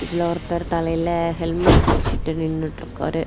இதுலோ ஒருத்தர் தலையில ஹெல்மெட் வச்சிட்டு நின்னுட்டு இருக்காரு.